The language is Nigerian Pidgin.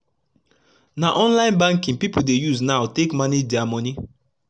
na mobile banking pipu dey use now take manage dia moni